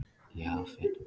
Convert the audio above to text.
Jafet